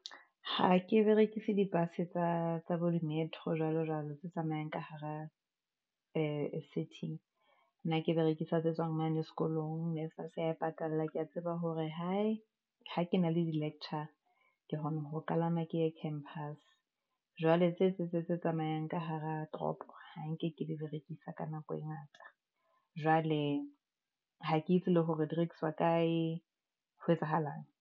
Ha ke berekise di-bus tsa tsa bo di-metro jwalo jwalo tse tsamayang ka hara nna ke berekisa tse tswang mane sekolong NSFAS ya e patalla. Kea tseba hore hae ha ke na le di lecture, ke kgona ho kalama ke ye campus, jwale tse tse tsamayang ka hara toropo. Ha nke ke le di berekisa ka nako e ngata, jwale ha ke itse le hore di rekiswa kae, ho etsahalang.